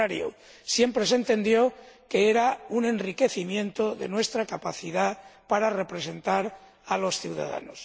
Al contrario, siempre se entendió que era un enriquecimiento de nuestra capacidad para representar a los ciudadanos.